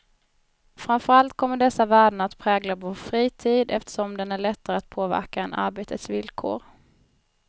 Framför allt kommer dessa värden att prägla vår fritid, eftersom den är lättare att påverka än arbetets villkor.